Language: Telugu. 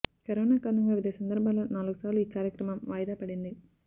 కరోనా కారణంగా వివిధ సందర్భాల్లో నాలుగు సార్లు ఈ కార్యక్రమం వాయిదా పడింది